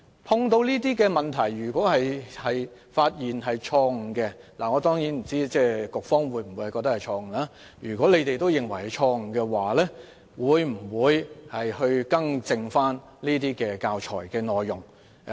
碰到這些問題，如果發現有錯誤——當然，我不知道當局是否認為是錯誤——會否更正教材內容？